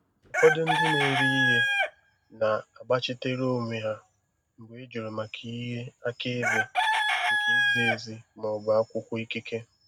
Ụfọdụ ndị na-ere ihe na-agbachitere onwe ha mgbe ị jụrụ maka ihe akaebe nke izi ezi ma ọ bụ akwụkwọ ikike.